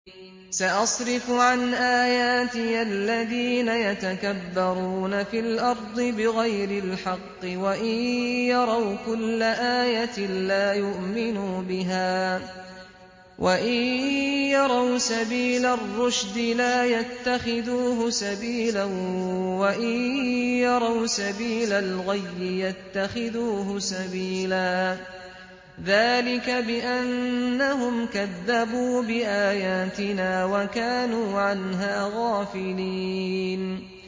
سَأَصْرِفُ عَنْ آيَاتِيَ الَّذِينَ يَتَكَبَّرُونَ فِي الْأَرْضِ بِغَيْرِ الْحَقِّ وَإِن يَرَوْا كُلَّ آيَةٍ لَّا يُؤْمِنُوا بِهَا وَإِن يَرَوْا سَبِيلَ الرُّشْدِ لَا يَتَّخِذُوهُ سَبِيلًا وَإِن يَرَوْا سَبِيلَ الْغَيِّ يَتَّخِذُوهُ سَبِيلًا ۚ ذَٰلِكَ بِأَنَّهُمْ كَذَّبُوا بِآيَاتِنَا وَكَانُوا عَنْهَا غَافِلِينَ